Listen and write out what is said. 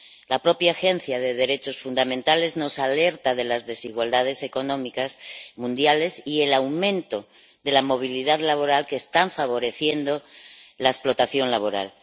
La propia Agencia de los Derechos Fundamentales nos alerta de las desigualdades económicas mundiales y del aumento de la movilidad laboral, que están favoreciendo la explotación laboral.